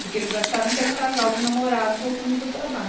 Porque eles acharam que era um casal de namorados voltando do trabalho.